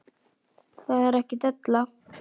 Það er ekki della.